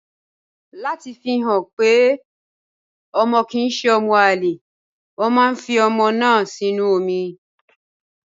Láti fi hàn wípé ọmọ kì ń ṣe ọmọ àlè, wọn máa ń fi ọmọ náà sínú omi.